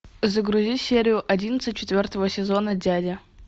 загрузи серию одиннадцать четвертого сезона дядя